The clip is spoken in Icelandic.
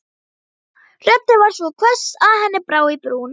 Röddin var svo hvöss að henni brá í brún.